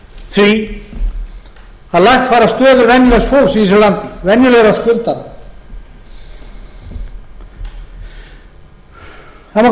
því að lagfæra stöðu venjulegs fólks í þessu landi venjulegra skuldara það má kannski